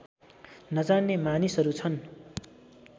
नजान्ने मानिसहरू छन्